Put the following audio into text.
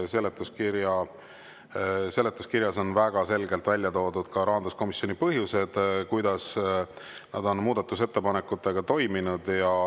Seal on väga selgelt välja toodud ka rahanduskomisjoni põhjendused selle kohta, kuidas nad on muudatusettepanekutega toiminud.